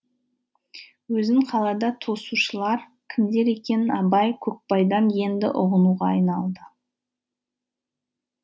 өзін қалада тосушылар кімдер екенін абай көкбайдан енді ұғынуға айналды